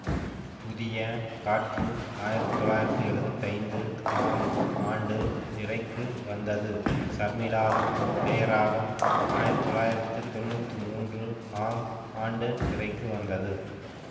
புதிய காற்று ஆயிரத்தி தொள்ளாயிரத்தி எழுவத்தி ஐந்து ஆம் ஆண்டு திரைக்கு வந்தது சர்மிளாவின் இதயராகம் ஆயிரத்தி தொள்ளாயிரத்தி தொன்னூற்றி மூன்று ஆம் ஆண்டு திரைக்கு வந்தது